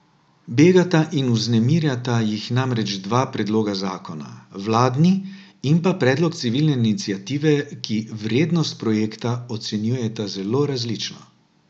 Begata in vznemirjata jih namreč dva predloga zakona, vladni in pa predlog civilne iniciative, ki vrednost projekta ocenjujeta zelo različno.